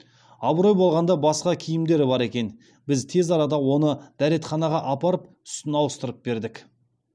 абырой болғанда басқа киімдері бар екен біз тез арада оны дәретханаға апарып үстін ауыстырып бердік